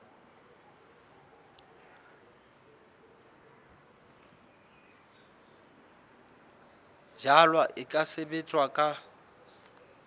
jalwa e ka sebetswa ka